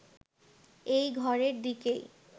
এই ঘরের দিকেই